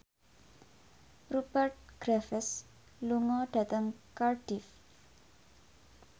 Rupert Graves lunga dhateng Cardiff